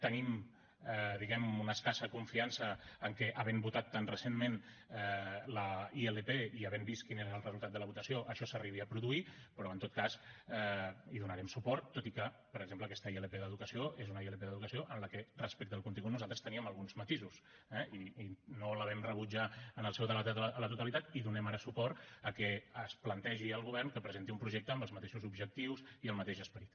tenim diguem ne una escassa confiança que havent votat tan recentment la ilp i havent vist quin era el resultat de la votació això s’arribi a produir però en tot cas hi donarem suport tot i que per exemple aquesta ilp d’educació és una ilp d’educació en la qual respecte al contingut nosaltres teníem alguns matisos eh i no la vam rebutjar en el seu debat a la totalitat i donem ara suport al fet que es plantegi al govern que presenti un projecte amb els mateixos objectius i el mateix esperit